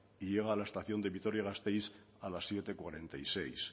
y llega a la estación de vitoria gasteiz a las siete cuarenta y seis